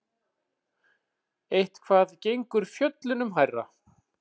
Eitthvað gengur fjöllunum hærra